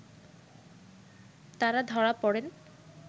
তারা ধরা পড়েন